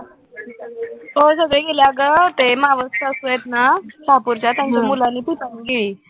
हो, सगळे गेले अगं ते मावस सासू आहेत ना, त्यांच्या मुलांनी पिपाणी गिळली